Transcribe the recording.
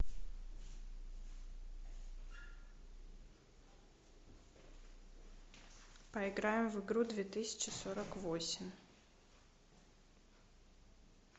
поиграем в игру две тысячи сорок восемь